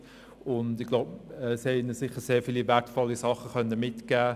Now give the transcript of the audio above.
Man konnte ihnen sicher sehr viele wertvolle Dinge mitgeben.